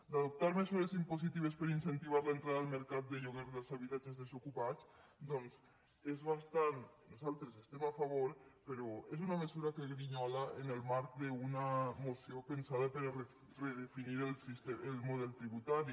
d’adoptar mesures impositives per incentivar l’entrada al mercat de lloguer dels habitatges desocupats doncs nosaltres hi estem a favor però és una mesura que grinyola en el marc d’una moció pensada per a redefinir el model tributari